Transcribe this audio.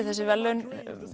þessi verðlaun